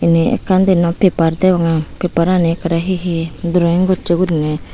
yen ekkan diyen noi paper degonge paper rani ekore he he droing goche gurine.